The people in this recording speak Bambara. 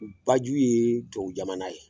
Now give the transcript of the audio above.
Baju ye tubabu jamana ye